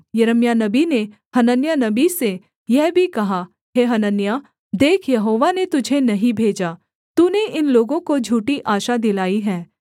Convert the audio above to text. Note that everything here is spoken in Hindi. यिर्मयाह नबी ने हनन्याह नबी से यह भी कहा हे हनन्याह देख यहोवा ने तुझे नहीं भेजा तूने इन लोगों को झूठी आशा दिलाई है